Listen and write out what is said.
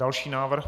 Další návrh?